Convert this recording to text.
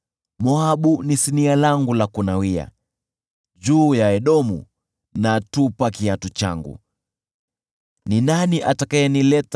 Moabu ni sinia langu la kunawia, juu ya Edomu natupa kiatu changu; nashangilia kwa kushindwa kwa Ufilisti.”